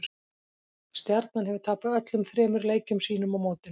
Stjarnan hefur tapað öllum þremur leikjum sínum á mótinu.